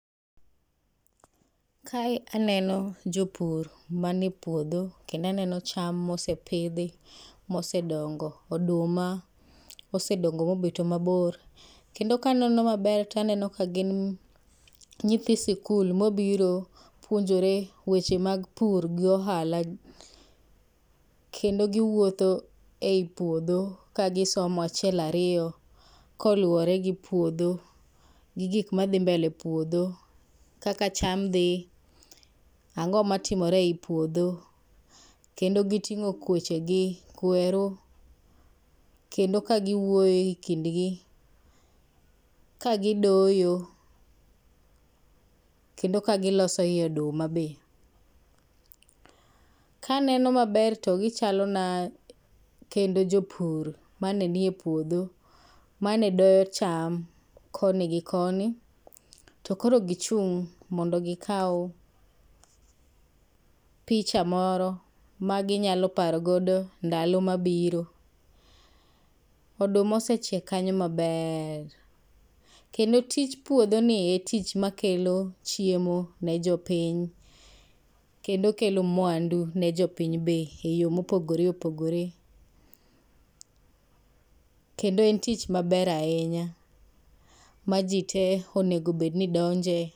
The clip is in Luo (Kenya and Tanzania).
kae aneno jopur mane puodho kendo aneno cham mosepidhi mosedongo, oduma osedongo mosebet mabor, kendo kaneno maber taneno ka gin nyithi sikul mobiro puonjore weche mag pur gi ohala kendo giwuotho ei puodho ka gisomo achiel ariyo kolowore gi puodho gi gik madhi mbele e puodho, kaka cham dhi ang'o matimore ei puodho kendo gi ting'o kweche gi kweru kendo ka giwuoyo e kind gi ka gidoyo kendo ka giloso i oduma be ,kaneno maber to gichalo na kendo jopur mane nie puodho mane doyo cham koni gi koni to koro gichung' mondo gi kaw picha moro magi nyalo paro godo ndalo mabiro, oduma osechiek kanyo maber kendo tich puodho ni en tich makelo chiemo ne jopiny kendo kelo mwandu ne jopiny be e yo mopogore opogore kendo en tich maber ahinya ma ji te onego bed ni donje.